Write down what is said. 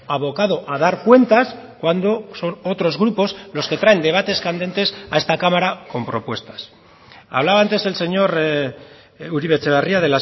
abocado a dar cuentas cuando son otros grupos los que traen debates candentes a esta cámara con propuestas hablaba antes el señor uribe etxebarria